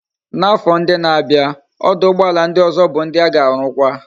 Na afo ndi na abia abia, oduugboala ndi ozo bu ndi a ga arukwa